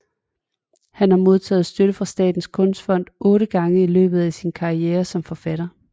Han har modtaget støtte fra Statens Kunstfond otte gange i løbet af sin karriere som forfatter